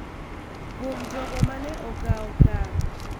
Kuom jogo ma ne okawo okang�,